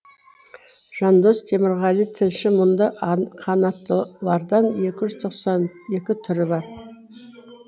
жандос темірғали тілші мұнда қанаттылардан екі жүз тоқсан екі түрі бар